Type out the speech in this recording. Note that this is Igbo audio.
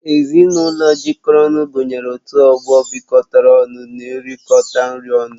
Ezinụlọ jikọrọ ọnụ gụnyere ọtụtụ ọgbọ bịkotara ọnụ n'erikota nri ọnụ